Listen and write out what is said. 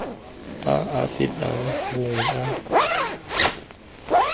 a a fetang bongwe a